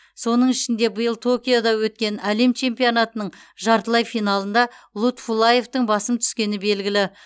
соның ішінде биыл токиода өткен әлем чемпионатының жартылай финалында лутфуллаевтың басым түскені белгілі